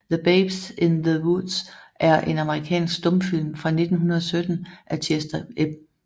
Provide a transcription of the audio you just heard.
The Babes in the Woods er en amerikansk stumfilm fra 1917 af Chester M